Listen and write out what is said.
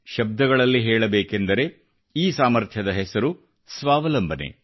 ಶಬ್ದಗಳಲ್ಲಿ ಹೇಳಬೇಕೆಂದರೆ ಈ ಸಾಮರ್ಥ್ಯದ ಹೆಸರು ಸ್ವಾವಲಂಬನೆ